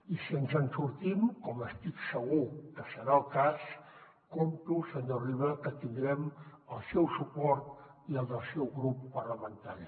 i si ens en sortim com estic segur que serà el cas compto senyor riba que tindrem el seu suport i el del seu grup parlamentari